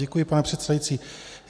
Děkuji, pane předsedající.